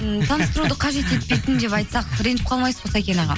м таныстыруды қажет етпейтін деп айтсақ ренжіп қалмайсыз ғой сәкен аға